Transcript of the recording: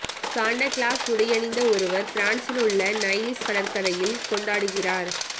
Santa Claus உடையணிந்த ஒருவர் பிரான்சில் உள்ள நைஸில் கடற்கரையில் கொண்டாடுகிறார்